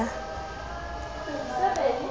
eo a e ya ka